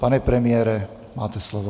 Pane premiére, máte slovo.